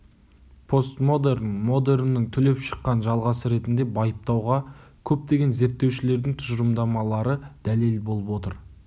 постмодерн модерннің түлеп шыққан жалғасы ретінде байыптауға көптеген зерттеушілердің тұжырымдамалары дәлел болып отыр